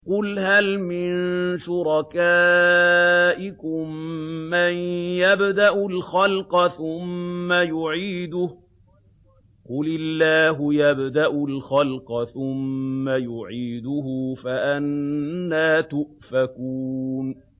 قُلْ هَلْ مِن شُرَكَائِكُم مَّن يَبْدَأُ الْخَلْقَ ثُمَّ يُعِيدُهُ ۚ قُلِ اللَّهُ يَبْدَأُ الْخَلْقَ ثُمَّ يُعِيدُهُ ۖ فَأَنَّىٰ تُؤْفَكُونَ